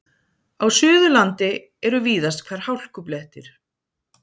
Á Suðurlandi eru víðast hvar hálkublettir